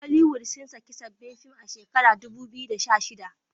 Holiwood sun saki zbabban film a shekarar 2016